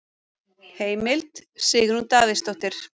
Heimild: Sigrún Davíðsdóttir.